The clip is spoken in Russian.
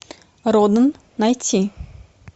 роден найти